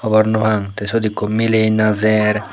hobor nw pang sot ekku milay najer.